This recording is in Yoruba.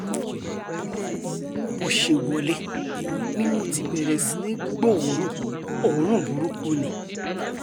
bó ṣe wọlé ni mo ti bẹ̀rẹ̀ sí í gbóòórùn oorun burúkú ni